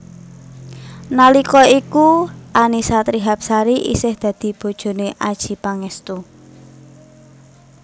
Nalika iku Annisa Trihapsari isih dadi bojoné Adjie Pangestu